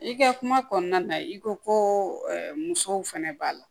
I ka kuma kɔnɔna na i ko ko musow fɛnɛ b'a la